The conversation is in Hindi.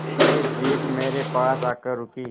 पुलिस जीप मेरे पास आकर रुकी